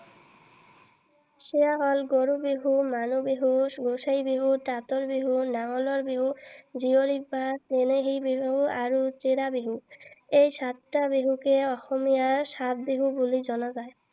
সেইয়া হল গৰু বিহু, মানুহ বিহু, গোসাই বিহু, তাঁতৰ বিহু, নাঙলৰ বিহু, জীয়ৰী বা চেনেহী বিহু আৰু চিৰা বিহু। এই সাতটা বিহুকে অসমীয়াৰ সাত বিহু বুলি জনা যায়।